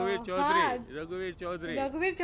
રઘુવીર Chaudhary રઘુવીર Chaudhary